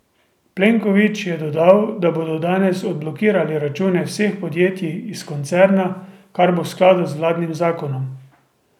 Plenković je dodal, da bodo danes odblokirali račune vseh podjetjih iz koncerna, kar bo v skladu z vladnim zakonom.